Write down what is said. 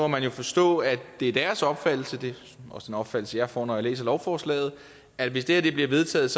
man jo forstå at det er deres opfattelse det er også den opfattelse jeg får når jeg læser lovforslaget at hvis det her bliver vedtaget